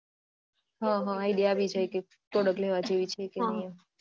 હા હા idea આવી જાય product લેવા જેવી છે કે નહિ